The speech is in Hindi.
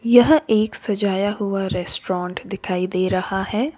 यह एक सजाया हुआ रेस्टोरेंट दिखाई दे रहा है।